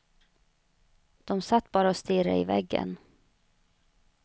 De satt bara och stirrade i väggen.